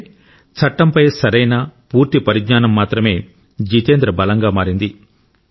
అంటే చట్టంపై సరైన పూర్తి పరిజ్ఞానం మాత్రమే జితేంద్ర బలంగా మారింది